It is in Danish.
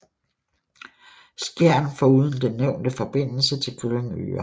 Skjern foruden den nævnte forbindelse til Glyngøre